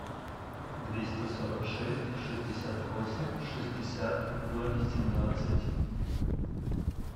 двести сорок шесть шестьдесят восемь шестьдесят ноль семнадцать